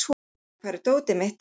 Tinna, hvar er dótið mitt?